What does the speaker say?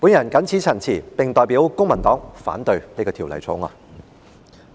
我謹此陳辭，並代表公民黨反對《條例草案》。